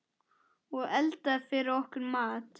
Og eldaði fyrir okkur mat.